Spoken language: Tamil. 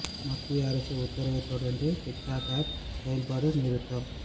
மத்திய அரசு உத்தரவைத் தொடர்ந்து டிக் டாக் ஆப் செயல்பாடு நிறுத்தம்